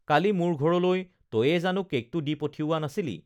কালি মোৰ ঘৰলৈ তয়েই জানো কেকটো দি পঠিওৱা নাছিলি